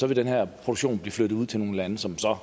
vil den her produktion blive flyttet ud til nogle lande som så